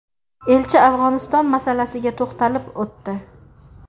Elchi Afg‘oniston masalasiga to‘xtalib o‘tdi.